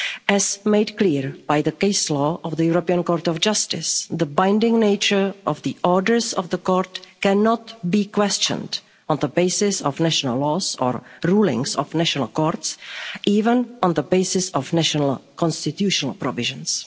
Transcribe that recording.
As made clear by the case law of the European Court of Justice, the binding nature of the orders of the Court cannot be questioned on the basis of national laws or rulings of national courts, even on the basis of national constitutional provisions.